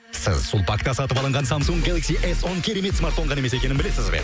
сіз сулпакта салып алынған самсунг гелакси эс он керемет смартфон ғана емес екенін білесіз бе